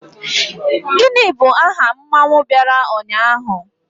Gini bu aha mmanwu biara unyahu?